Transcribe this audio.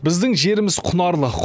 біздің жеріміз құнарлы